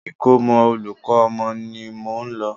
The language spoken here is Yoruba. Ikomo olùkọ́ ọmọ mi ni mò ń lọ.